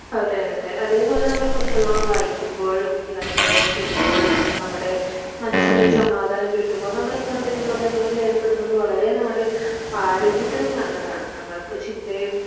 അതെയതെ അതേപോലെ നമ്മൾ പുസ്തകങ്ങൾ വായിക്കുമ്പോഴും യാത്രകൾ ചെയ്യുമ്പോഴും നമ്മുടെ മനസ്സിന് ഒരു സമാധാനം കിട്ടുമ്പോ നമ്മൾ ഇങ്ങനത്തെ വിനോദങ്ങളിൽ ഏർപ്പെടുന്നത് വളരേ നമ്മുടെ ആരോഗ്യത്തിനും നല്ലതാണ് നമ്മൾക്ക് ചിന്തയും